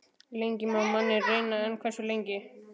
Lengi má manninn reyna- en hversu lengi?